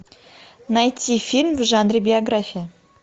найти фильм в жанре биография